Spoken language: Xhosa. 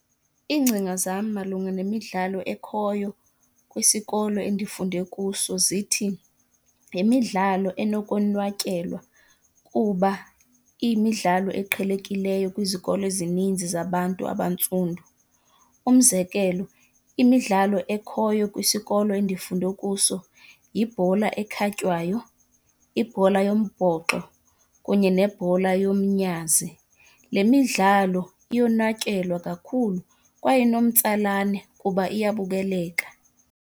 Iingcinga zam malunga nemidlalo ekhoyo kwisikolo endifunde kuso zithi yimidlalo enokonwatyelwa kuba iyimidlalo eqhelekileyo kwizikolo ezininzi zabantu abantsundu. Umzekelo, imidlalo ekhoyo kwisikolo endifunde kuso yibhola ekhwatywayo, ibhola yombhoxo kunye nebhola yomnyazi. Le midlalo iyonwatyelwa kakhulu kwaye inomtsalane kuba iyabukeleka.